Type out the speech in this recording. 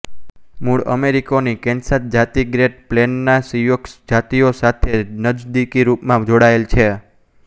મૂળ અમેરિકનોની કેન્સાસ જાતિ ગ્રેટ પ્લેનના સિયોક્ષ જાતિઓ સાથે નજદીકી રૂપથી જોડાયેલ છે